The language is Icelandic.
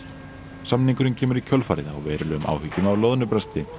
samningurinn kemur í kjölfarið á verulegum áhyggjum af loðnubresti